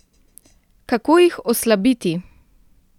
Kako jih oslabiti?